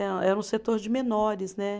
Era um setor de menores, né?